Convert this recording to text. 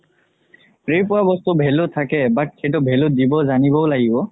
free ত পোৱা বস্তু value থাকে but সেইটো value দিব জানিবও লাগিব